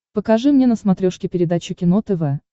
покажи мне на смотрешке передачу кино тв